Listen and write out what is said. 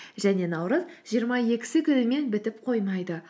және наурыз жиырма екісі күнімен бітіп қоймайды